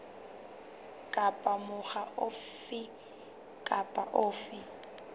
kapa mokga ofe kapa ofe